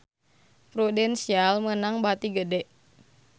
Prudential meunang bati gede